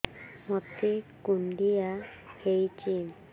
ମୋତେ କୁଣ୍ଡିଆ ହେଇଚି